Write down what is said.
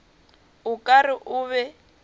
o ka re o be